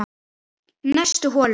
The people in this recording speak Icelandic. Næstu holu